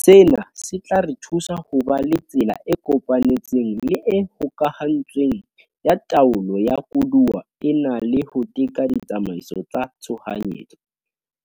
Sena se tla re thusa ho ba le tsela e kopanetsweng le e hokahantsweng ya taolo ya koduwa ena le ho teka ditsamaiso tsa tshohanyetso,